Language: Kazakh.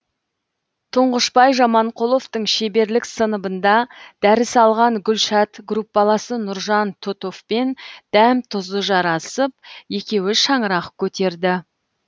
тұңғышбай жаманқұловтың шеберлік сыныбында дәріс алған гүлшат группаласы нұржан тұтовпен дәм тұзы жарасып екеуі шаңырақ көтерді